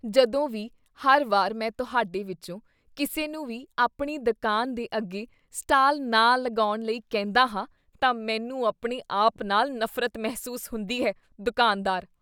ਜਦੋਂ ਵੀ ਹਰ ਵਾਰ ਮੈਂ ਤੁਹਾਡੇ ਵਿੱਚੋਂ ਕਿਸੇ ਨੂੰ ਵੀ ਆਪਣੀ ਦੁਕਾਨ ਦੇ ਅੱਗੇ ਸਟਾਲ ਨਾ ਲਗਾਉਣ ਲਈ ਕਹਿੰਦਾ ਹਾਂ, ਤਾਂ ਮੈਨੂੰ ਆਪਣੇ ਆਪ ਨਾਲ ਨਫ਼ਰਤ ਮਹਿਸੂਸ ਹੁੰਦੀ ਹੈ ਦੁਕਾਨਦਾਰ